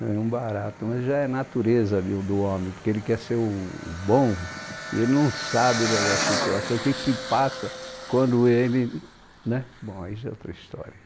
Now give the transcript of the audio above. Não é um barato, mas já é natureza de o do homem, porque ele quer ser o bom e ele não sabe da da situação, o que se passa quando ele... Bom, aí já é outra história.